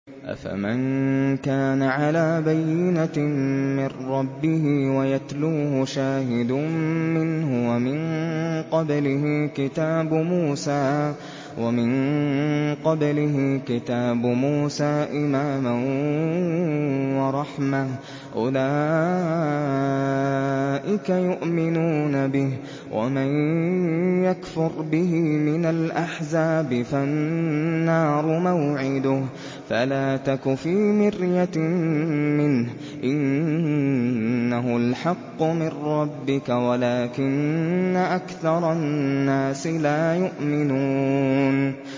أَفَمَن كَانَ عَلَىٰ بَيِّنَةٍ مِّن رَّبِّهِ وَيَتْلُوهُ شَاهِدٌ مِّنْهُ وَمِن قَبْلِهِ كِتَابُ مُوسَىٰ إِمَامًا وَرَحْمَةً ۚ أُولَٰئِكَ يُؤْمِنُونَ بِهِ ۚ وَمَن يَكْفُرْ بِهِ مِنَ الْأَحْزَابِ فَالنَّارُ مَوْعِدُهُ ۚ فَلَا تَكُ فِي مِرْيَةٍ مِّنْهُ ۚ إِنَّهُ الْحَقُّ مِن رَّبِّكَ وَلَٰكِنَّ أَكْثَرَ النَّاسِ لَا يُؤْمِنُونَ